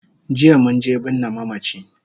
Jiya munje binne mamachi